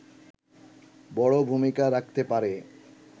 বড় ভূমিকা রাখতে পারে